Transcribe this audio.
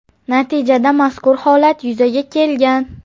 Natijada mazkur holat yuzaga kelgan.